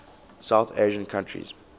south asian countries